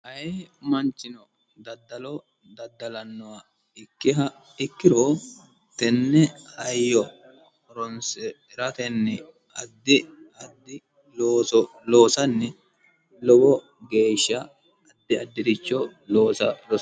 ayee manchino daddalo daddalannoha ikkiha ikkiro, tenne hayyo horonsire hiratenni addi addi looso loosanni lowo geeshsha addiaddiricho loosa rosanno.